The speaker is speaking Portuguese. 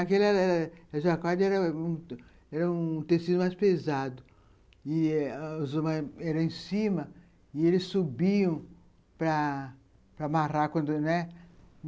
Aquele jacquarde era um era um tecido mais pesado, e eh os homens eram em cima, e ele subiam para amarrar quando, né?